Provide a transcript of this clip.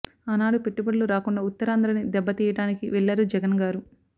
ఆనాడు పెట్టుబడులు రాకుండా ఉత్తరాంధ్ర ని దెబ్బ తీయడానికి వెళ్లారు జగన్ గారు